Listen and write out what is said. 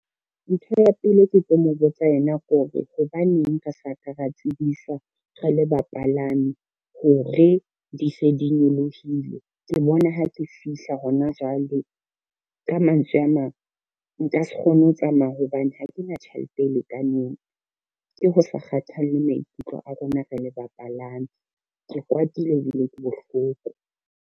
Ntho ya pele e ke tlo mo botsa yona ke hore hobaneng re sa ka ra tsebiswa re le bapalami hore, di se di nyolohile ke bona ha ke fihla hona jwale. Ka mantswe a mang, nka se kgone ho tsamaya hobane ha ke na tjhelete e lekaneng, ke ho sa kgathalle maikutlo a rona re le bapalami, ke kwatile ebile ke bohloko.